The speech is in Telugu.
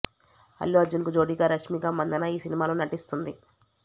అల్లు అర్జున్ కు జోడీగా రష్మిక మందన్న ఈ సినిమాలో నటిస్తోంది